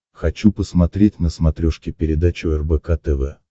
хочу посмотреть на смотрешке передачу рбк тв